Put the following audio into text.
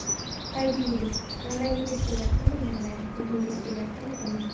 Tabiiylik Yig‘lagingiz kelyaptimi yig‘lang, kulgingiz kelyaptimi kuling.